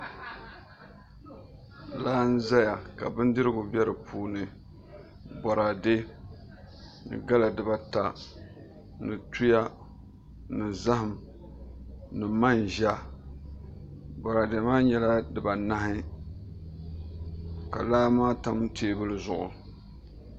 Laa n ʒɛya ka bindirigu bɛ di puuni boraadɛ ni gala dibaata ni tua ni zaham ni manʒa boraadɛ maa nyɛla dibanahi ka laa maa tam teebuli zuɣu